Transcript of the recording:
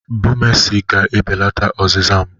Bumesi ga-ebelata ọzịza m.